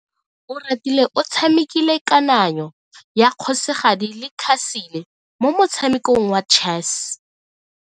Oratile o tshamekile kananyo ya kgosigadi le khasele mo motshamekong wa chess.